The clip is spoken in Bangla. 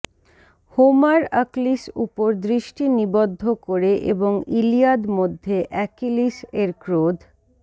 হোমার আকলিস উপর দৃষ্টি নিবদ্ধ করে এবং ইলিয়াদ মধ্যে অ্যাকিলিস এর ক্রোধ